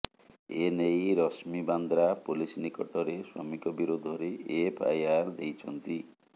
ଏନେଇ ରଶ୍ମୀ ବାନ୍ଦ୍ରା ପୋଲିସ୍ ନିକଟରେ ସ୍ୱାମୀଙ୍କ ବିରୋଧରେ ଏଫ୍ଆଇଆର ଦେଇଛନ୍ତି